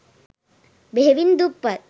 බෙහෙවින් දුප්පත්